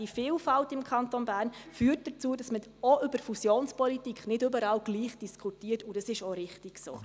Die Vielfalt im Kanton Bern führt dazu, dass man auch über Fusionspolitik nicht überall gleich diskutiert, und dies ist auch richtig so.